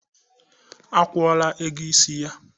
Akwula ego isj.